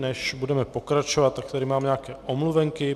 Než budeme pokračovat, tak tady mám nějaké omluvenky.